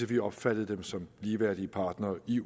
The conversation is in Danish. vi opfattede dem som ligeværdige partnere i